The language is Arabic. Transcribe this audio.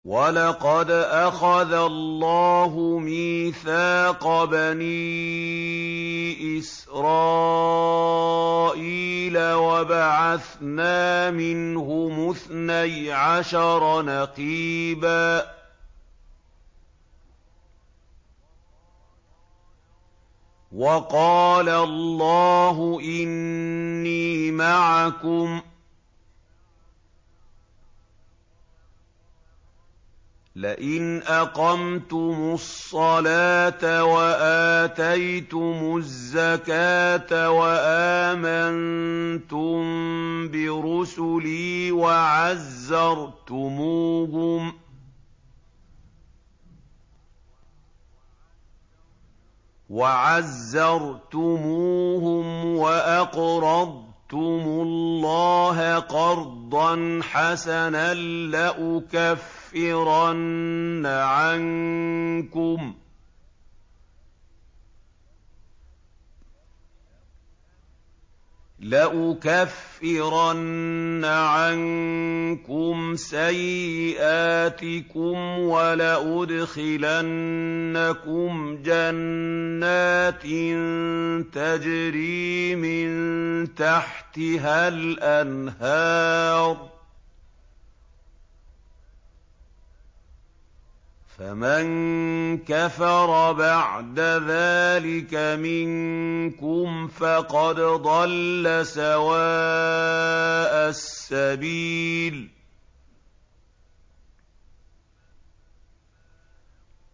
۞ وَلَقَدْ أَخَذَ اللَّهُ مِيثَاقَ بَنِي إِسْرَائِيلَ وَبَعَثْنَا مِنْهُمُ اثْنَيْ عَشَرَ نَقِيبًا ۖ وَقَالَ اللَّهُ إِنِّي مَعَكُمْ ۖ لَئِنْ أَقَمْتُمُ الصَّلَاةَ وَآتَيْتُمُ الزَّكَاةَ وَآمَنتُم بِرُسُلِي وَعَزَّرْتُمُوهُمْ وَأَقْرَضْتُمُ اللَّهَ قَرْضًا حَسَنًا لَّأُكَفِّرَنَّ عَنكُمْ سَيِّئَاتِكُمْ وَلَأُدْخِلَنَّكُمْ جَنَّاتٍ تَجْرِي مِن تَحْتِهَا الْأَنْهَارُ ۚ فَمَن كَفَرَ بَعْدَ ذَٰلِكَ مِنكُمْ فَقَدْ ضَلَّ سَوَاءَ السَّبِيلِ